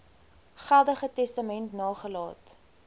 geldige testament nagelaat